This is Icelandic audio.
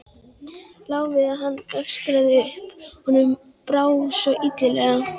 Lá við að hann öskraði upp, honum brá svo illilega.